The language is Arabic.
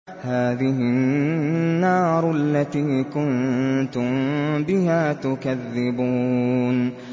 هَٰذِهِ النَّارُ الَّتِي كُنتُم بِهَا تُكَذِّبُونَ